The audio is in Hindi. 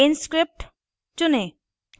inscript चुनें